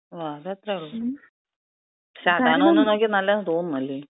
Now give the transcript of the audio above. ആ അതത്ര ഉള്ളു. പക്ഷെ അതാണ് ഒന്ന് നോക്കിയാ നല്ലതെന്ന് തോന്നുന്നു. അല്ലേ?